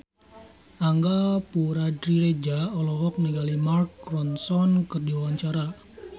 Angga Puradiredja olohok ningali Mark Ronson keur diwawancara